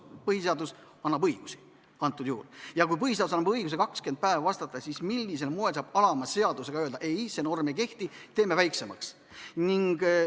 Põhiseadus annab antud juhul õigusi ja kui põhiseadus annab õiguse 20 päeva jooksul vastata, siis millisel moel saab alama seadusega öelda ei, et see norm ei kehti, teeme aja lühemaks?